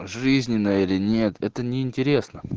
жизненно или нет это неинтересно